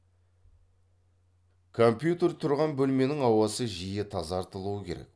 компьютер тұрған бөлменің ауасы жиі тазартылуы керек